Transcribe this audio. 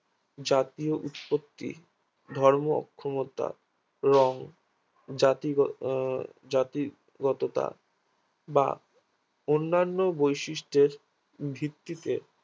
জাতীয় উৎপত্তি ধর্ম অক্ষমতা রং জাতি আহ জাতি গতটা বা অন্যান্য বৈশিষ্টের ভিত্তিতে